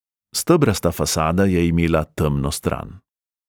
Stebrasta fasada je imela temno stran.